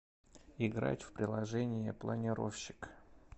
играть в приложение планировщик